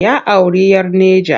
Ya auri 'yar Neja.